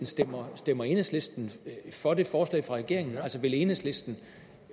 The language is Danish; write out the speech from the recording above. stemmer stemmer enhedslisten for det forslag fra regeringen altså vil enhedslisten